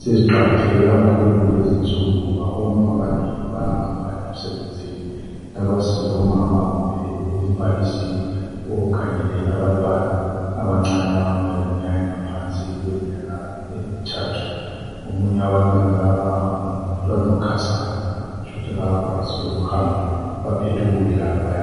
seziqakatheke kakhulu kulezinsuku ngoba omama abanengi bayahamba emsebenzini lapha silomama kumbe umbalisi okhangele abantwana abancane abangaba leminyaka engaphansi emithathu omunye umntwana ngokhasayo kutsho ukuthi kakakwanisi lokuhamba baphethe ukudla bayadla.